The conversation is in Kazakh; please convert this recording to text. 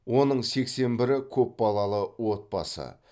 оның сексен бірі көпбалалы отбасы